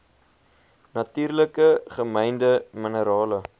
natuurlik gemynde minerale